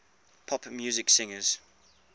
pop music singers